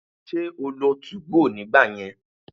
Ṣé o lo 2go nígbà yẹn?